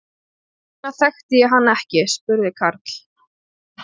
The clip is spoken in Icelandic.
Hvers vegna þekkti ég hann ekki? spurði Karl.